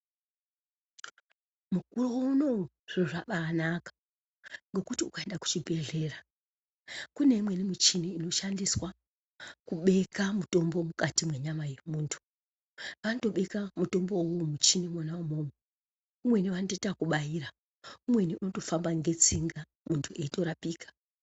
Mukore unowu zviro zvabaanaka ngekuti kuende kuzvibhedhlera kune imweni muchini inoshandiswa kubeke mutombo mukati mwenyama yemuntu. Vanotobeka mutombo umwomwo mumuchinimwo umwomwo umweni vanotoite wekubaira, umweni unotofamba netsinga muntu eitorapika.